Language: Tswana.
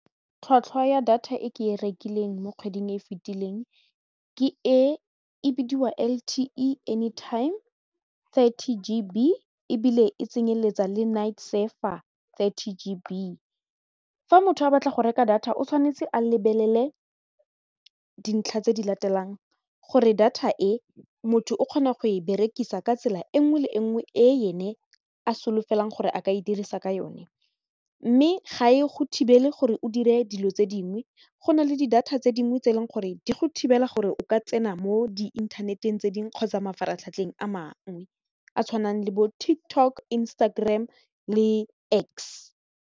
Tlhwatlhwa ya data e ke e rekileng mo kgweding e e fetileng ke e e bidiwa L_T_E anytime thirty G B ebile e tsenyeletsa le night surfer thirty G B, fa motho a batla go reka data o tshwanetse a lebelele dintlha tse di latelang gore data e motho o kgona go e berekisa ka tsela e nngwe le e nngwe e ene a solofelwang gore a ka e dirisa ka yone mme ga e go thibele gore o dire dilo tse dingwe go na le di data tse dingwe tse e leng gore di go thibela gore o ka tsena mo di inthaneteng tse dingwe kgotsa mafaratlhatlheng a mangwe a tshwanang le bo TikTok, Instagram le X.